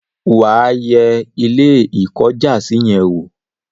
wà á yẹ Ilé-ìkọ́jàsí yẹn wò?